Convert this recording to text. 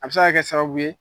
A bɛ se ka kɛ sababu ye